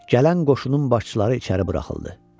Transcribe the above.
Gələn qoşunun başçıları içəri buraxıldı.